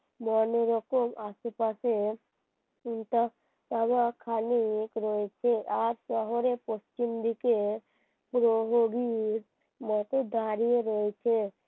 মনে রেখো আশেপাশের চাওয়া খালি এক রয়েছে এক শহরে পশ্চিমদিকে প্রহরীর মত দাঁড়িয়ে রয়েছে